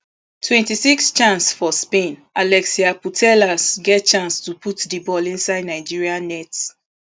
twenty-sixchance for spainalexia putellas get chance to put di ball inside nigeria net